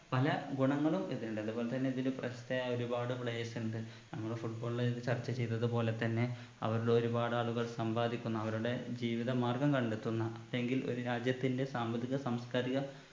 പല ഗുണങ്ങളും ഇതിനുണ്ട് അത് പോലെത്തന്നെ ഇതില് പ്രശസ്തയായ ഒരുപാട് players ഉണ്ട് നമ്മൾ football ല് ചർച്ച ചെയ്തത് പോലെ തന്നെ അവരിൽ ഒരുപാട് ആളുകൾ സമ്പാദിക്കുന്ന അവരുടെ ജീവിത മാർഗം കണ്ടെത്തുന്ന പക്ഷെങ്കിൽ ഒരു രാജ്യത്തിൻറെ സാമ്പത്തിക സാംസ്‌കാരിക